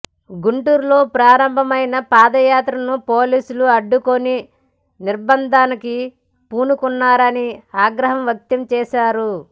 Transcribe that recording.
గుంటూరులో ప్రారంభమైన పాదయాత్రను పోలీసులు అడ్డుకుని నిర్భంధానికి పూనుకున్నారని ఆగ్రహం వ్యక్తం చేశారు